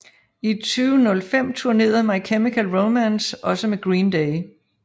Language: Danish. I 2005 tournerede My Chemical Romance også med Green Day